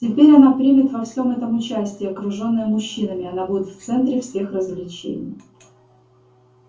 теперь она примет во всем этом участие окружённая мужчинами она будет в центре всех развлечений